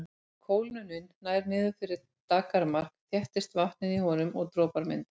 Ef kólnunin nær niður fyrir daggarmark þéttist vatnið í honum og dropar myndast.